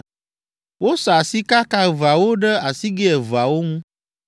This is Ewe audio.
wosa sikaka eveawo ɖe asigɛ eveawo ŋu